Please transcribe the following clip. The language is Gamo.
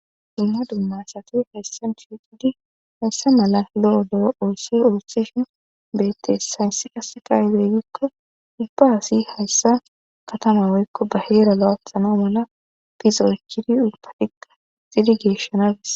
dumma dumma sati hayssa shiqidi hayssa mala lo7odoo oosse oossishin beettes saynsse qase kayileygikko ipaasi hayssa katamaweykko ba heera la7afsano mala pixoycidi udtadhikka xidigeeshshanabis